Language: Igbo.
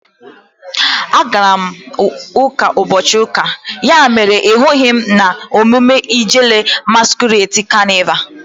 A gara m uka n'ubochi uka, ya mere na ị hughi m na emume Ijele masquerade canịval